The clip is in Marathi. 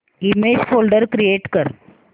इमेज फोल्डर क्रिएट कर